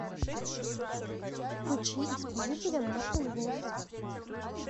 включи исполнителя мартен вос